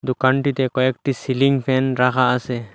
দোকানটিতে কয়েকটি ceiling fan রাখা আসে।